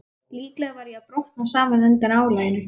Líklega var ég að brotna saman undan álaginu.